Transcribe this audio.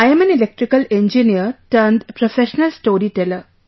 I am an Electrical Engineer turned professional storyteller